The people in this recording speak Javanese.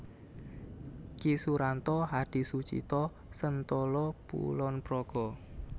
Ki Suranto Hadisucito Sentolo Kulon Progo